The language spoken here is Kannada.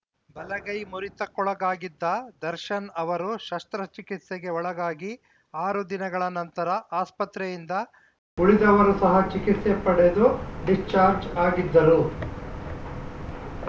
ಬಲಗೈ ಮುರಿತಕ್ಕೊಳಗಾಗಿದ್ದ ದರ್ಶನ್‌ ಅವರು ಶಸ್ತ್ರಚಿಕಿತ್ಸೆಗೆ ಒಳಗಾಗಿ ಆರು ದಿನಗಳ ನಂತರ ಆಸ್ಪತ್ರೆಯಿಂದ ಡಿಸ್ಚಾರ್ಜ್ ಆಗಿದ್ದರು ಉಳಿದವರು ಸಹ ಚಿಕಿತ್ಸೆ ಪಡೆದು ಡಿಸ್ಚಾರ್ಜ್ ಆಗಿದ್ದರು